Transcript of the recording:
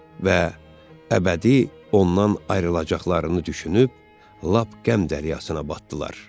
Və əbədi ondan ayrılacaqlarını düşünüb lap qəm dəryasına batdılar.